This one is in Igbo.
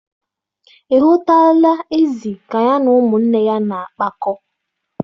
Ị hụtụla ezì ka ya na ụmụnne ya na-akpakọ?